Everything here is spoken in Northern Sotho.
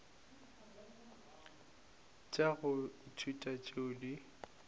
tša go ithuta tšeo di